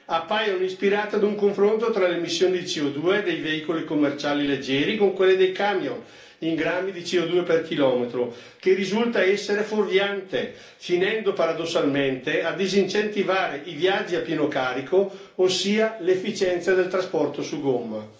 appaiono ispirate ad un confronto tra le emissioni di CO2 dei veicoli commerciali leggeri con quelle dei camion in grammi di CO2 per chilometro, che risulta essere fuorviante finendo paradossalmente a disincentivare i viaggi a pieno carico, ossia l'efficienza del trasporto su gomma.